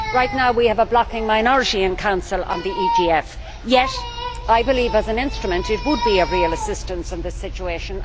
At the moment we have a blocking minority in Council on the EGF, yet I believe that as an instrument it would be of real assistance in this situation.